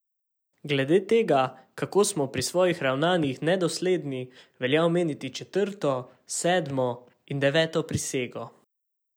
Glede tega, kako smo pri svojih ravnanjih nedosledni, velja omeniti četrto, sedmo in deveto prisego.